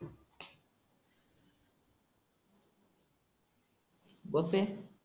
बघते